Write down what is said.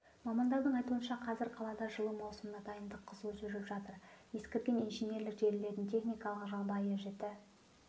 мамандардың айтуынша қазір қалада жылу маусымына дайындық қызу жүріп жатыр ескірген инженерлік желілердің техникалық жағдайы жіті